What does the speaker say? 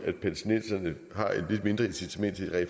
lidt svært at